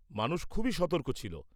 মানুষ খুবই সতর্ক ছিল।